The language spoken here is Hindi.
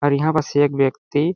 और यहाँ पस एक व्यक्ति--